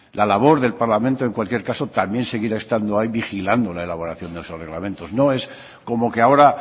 la labor del parlamento en cualquier caso también seguirá estando ahí vigilando la elaboración de esos reglamentos no es como que ahora